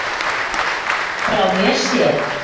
Frá mér séð.